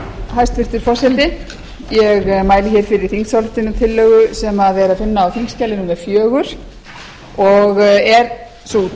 hæstvirtur forseti ég mæli hér fyrir þingsályktunartillögu sem er að finna á þingskjali númer